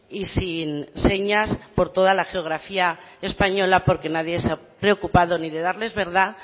y sin señas por toda la geografía española porque nadie se ha preocupado ni de darles verdad